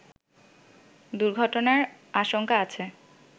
দুর্ঘটনার আশঙ্কা আছে